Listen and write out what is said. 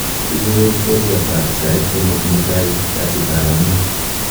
icherun twolyot ab sait somok mutai kasit ab ang'wan